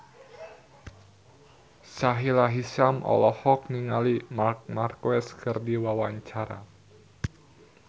Sahila Hisyam olohok ningali Marc Marquez keur diwawancara